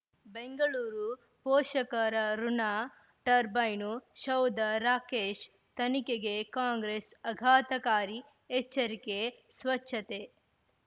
ಬೆಂಗಳೂರು ಪೋಷಕರ ಋಣ ಟರ್ಬೈನು ಸೌಧ ರಾಕೇಶ್ ತನಿಖೆಗೆ ಕಾಂಗ್ರೆಸ್ ಆಘಾತಕಾರಿ ಎಚ್ಚರಿಕೆ ಸ್ವಚ್ಛತೆ